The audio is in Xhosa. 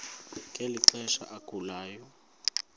ngeli xesha agulayo